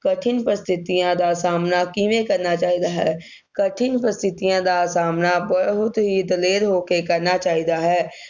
ਕਠਿਨ ਪ੍ਰਸਥਿਤੀਆਂ ਦਾ ਸਾਹਮਣਾ ਕਿਵੇਂ ਕਰਨਾ ਚਾਹੀਦਾ ਹੈ, ਕਠਿਨ ਪ੍ਰਸਥਿਤੀਆਂ ਦਾ ਸਾਹਮਣਾ ਬਹੁਤ ਹੀ ਦਲੇਰ ਹੋ ਕੇ ਕਰਨਾ ਚਾਹੀਦਾ ਹੈ।